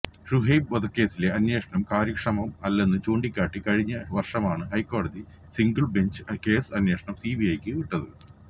ശുഐബ് വധക്കേസിലെ അന്വേഷണം കാര്യക്ഷമം അല്ലെന്നു ചൂണ്ടിക്കാട്ടി കഴിഞ്ഞ വര്ഷമാണ് ഹൈക്കോടതി സിംഗിള് ബെഞ്ച് കേസ് അന്വേഷണം സിബിഐക്ക് വിട്ടത്